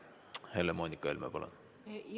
Helle-Moonika Helme, palun!